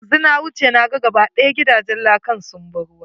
Yanzu na wuce, na ga ga ba ɗaya gidajen lakan sun bi ruwa.